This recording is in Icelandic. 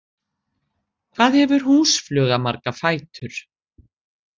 Hvað hefur húsfluga marga fætur?